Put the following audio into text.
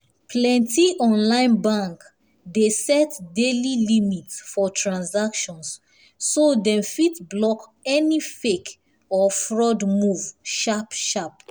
plenty online bank dey set daily limit for transaction so dem fit block any fake or fraud move sharp-sharp.